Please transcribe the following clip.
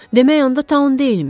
Demək onda Taun deyilmiş.